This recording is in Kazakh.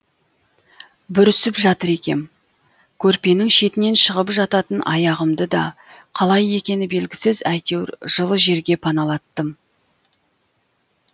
бүрісіп жатыр екем көрпенің шетінен шығып жататын аяғымды да қалай екені белгісіз әйтеуір жылы жерге паналаттым